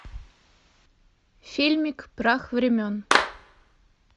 фильмик прах времен